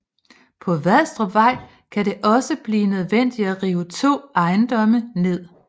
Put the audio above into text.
På Vadstrupvej kan det også blive nødvendigt at rive to ejendomme ned